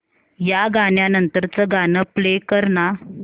या गाण्या नंतरचं गाणं प्ले कर ना